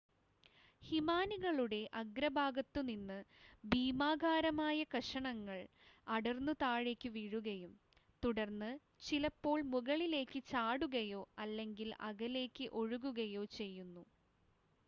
ഹിമാനികളുടെ അഗ്രഭാഗത്തു നിന്ന് ഭീമാകാരമായ കഷണങ്ങൾ അടർന്നു താഴേക്ക് വീഴുകയും തുടർന്ന് ചിലപ്പോൾ മുകളിലേക്ക് ചാടുകയോ അല്ലെങ്കിൽ അകലേക്ക് ഒഴുകുകയോ ചെയ്യുന്നു